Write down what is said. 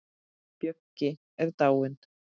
Böggi er dáinn.